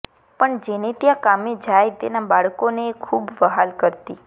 પણ જેને ત્યાં કામે જાય તેનાં બાળકોને એ ખૂબ વહાલ કરતી